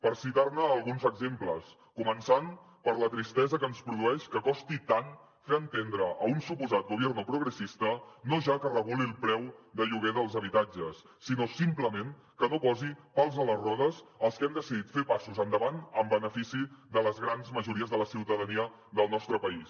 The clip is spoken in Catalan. per citar ne alguns exemples començant per la tristesa que ens produeix que costi tant fer entendre a un suposat gobierno progresista no ja que reguli el preu de lloguer dels habitatges sinó simplement que no posi pals a les rodes als que han decidit fer passos endavant en benefici de les grans majories de la ciutadania del nostre país